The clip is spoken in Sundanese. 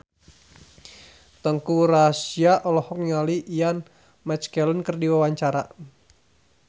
Teuku Rassya olohok ningali Ian McKellen keur diwawancara